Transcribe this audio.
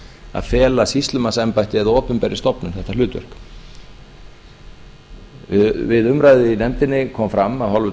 að fela sýslumannsembætti eða opinberri stofnun þetta hlutverk við umræðu í nefndinni kom fram af hálfu